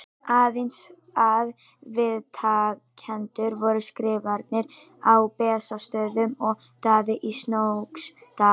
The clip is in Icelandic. Aðeins að viðtakendur voru Skrifarinn á Bessastöðum og Daði í Snóksdal.